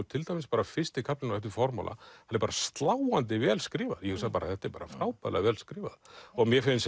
til dæmis bara fyrsti kaflinn á eftir formála hann er bara sláandi vel skrifaður ég hugsaði þetta er bara frábærlega vel skrifað mér finnst